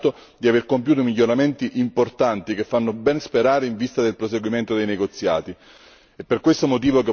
Al Montenegro va quindi dato atto di aver compiuto miglioramenti importanti, che fanno ben sperare in vista del proseguimento dei negoziati.